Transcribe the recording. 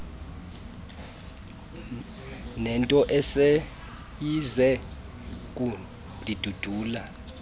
nento eseyize kundindulula